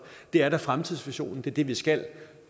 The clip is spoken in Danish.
det er da fremtidsvisionen det er det vi skal